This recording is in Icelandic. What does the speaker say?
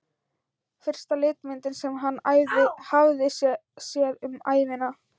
Fyrsta litmyndin sem hann hafði séð um ævina.